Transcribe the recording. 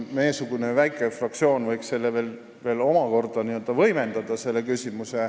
Meiesugune väike fraktsioon võiks seda küsimust veel omakorda võimendada.